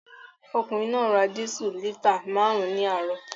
Ọkùnrin náà ra dísù lítà márùn-ún ní àárọ̀